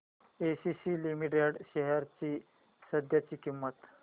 ACC limited shares ची सध्याची किंमत